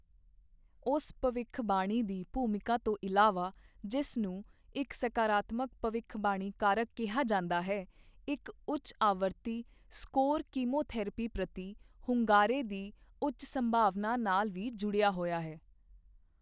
ਉਸ ਭਵਿੱਖਬਾਣੀ ਦੀ ਭੂਮਿਕਾ ਤੋਂ ਇਲਾਵਾ, ਜਿਸ ਨੂੰ ਇੱਕ ਸਕਾਰਾਤਮਕ ਭਵਿੱਖਬਾਣੀ ਕਾਰਕ ਕਿਹਾ ਜਾਂਦਾ ਹੈ, ਇੱਕ ਉੱਚ ਆਵਰਤੀ ਸਕੋਰ ਕੀਮੋਥੈਰੇਪੀ ਪ੍ਰਤੀ ਹੁੰਗਾਰੇ ਦੀ ਉੱਚ ਸੰਭਾਵਨਾ ਨਾਲ ਵੀ ਜੁੜਿਆ ਹੋਇਆ ਹੈ।